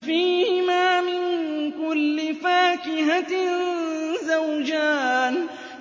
فِيهِمَا مِن كُلِّ فَاكِهَةٍ زَوْجَانِ